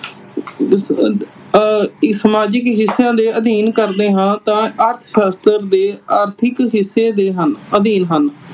ਆਹ ਸਮਾਜਿਕ ਹਿੱਸਿਆਂ ਦੇ ਅਧੀਨ ਕਰਦੇ ਹਾਂ ਤਾਂ ਅਰਥ ਸ਼ਾਸਤਰ ਦੇ ਆਰਥਿਕ ਹਿੱਸੇ ਦੇ ਹਨ ਅਧੀਨ ਹਨ।